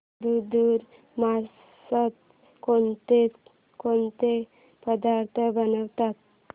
धुंधुर मासात कोणकोणते पदार्थ बनवतात